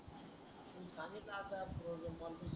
तुम्हीच आता